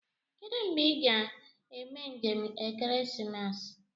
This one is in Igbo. Kedụ mgbe ị ga-eme njem ekeresimesi